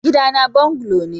Gidana bungalow ne.